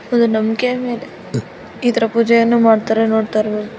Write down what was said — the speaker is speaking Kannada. ಒಂದು ನಮ್ಮಿಕೆ ಮೇಲೆ ಇದರ ಪೂಜೆಯನ್ನು ಮಾಡ್ತಾರೆ ನೋಡ್ತಇರಬಹುದು .